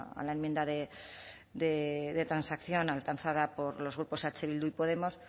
a la a la enmienda de transacción alcanzada por los grupos eh bildu y podemos